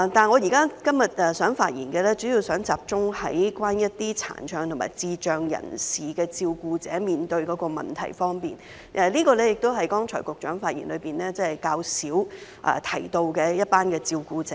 我今天發言主要想集中談一些殘障和智障人士的照顧者所面對的問題，這是剛才局長發言較少提到的一群照顧者。